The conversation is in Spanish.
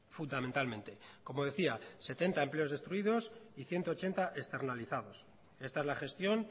fundamentalmente como decía setenta empleos destruidos y ciento ochenta externalizados esta es la gestión